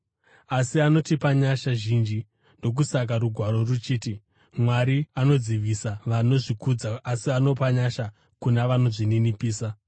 Asi anotipa nyasha zhinji. Ndokusaka Rugwaro ruchiti: “Mwari anodzivisa vanozvikudza, asi anopa nyasha kuna vanozvininipisa.”